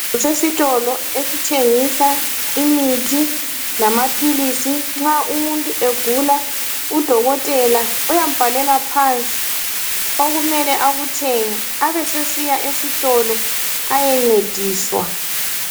Kusesitolo esithengisa imithi lamaphilisi nxa umuntu egula udokotela uyambhalela phansi okumele akuthenge abesesiya esitolo ayencedisa.